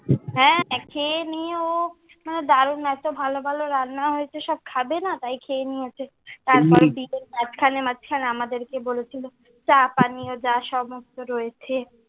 হ্যাঁ, খেয়ে নিয়ে ও দারুন এত ভালো ভালো রান্না হয়েছে, সব খাবে না তাই খেয়ে নিয়েছে। তারপর বিকেলে মাঝখানে মাঝখানে আমারদেরকে বলেছে, চা পানীয় যা সমস্ত রয়েছে।